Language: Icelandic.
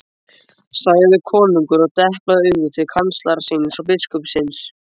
sagði konungur og deplaði auga til kanslara síns og biskupsins.